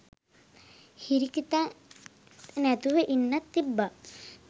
හිරිකිතක් නැතුව ඉන්නත් තිබ්බා.